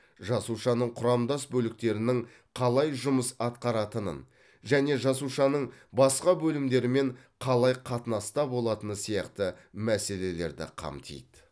жасушаның құрамдас бөліктерінің қалай жұмыс атқаратынын және жасушаның басқа бөлімдерімен қалай қатынаста болатыны сияқты мәселелерді қамтиды